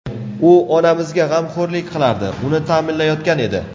U onamizga g‘amxo‘rlik qilardi, uni ta’minlayotgan edi.